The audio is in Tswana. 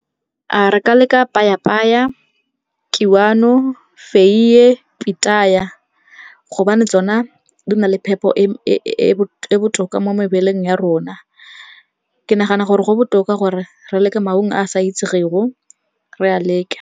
Re ka leka payapaya, kiwano, feiye, pitaya gobane tsona di na le phepo e e botoka mo mebeleng ya rona. Ke nagana gore go botoka gore re leke maungo a sa itsegego, re a leke.